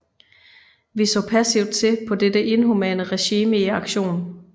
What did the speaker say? Vi så passivt til på dette inhumane regime i aktion